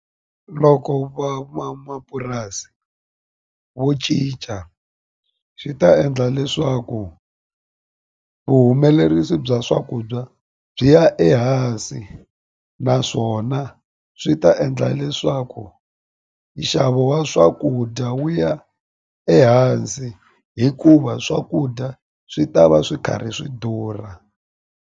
Loko van'wamapurasi vo cinca swi ta endla leswaku vuhumelerisi bya swakudya byi ya ehansi naswona swi ta endla leswaku nxavo wa swakudya wu ya ehansi hikuva swakudya swi ta va swi karhi swi durha.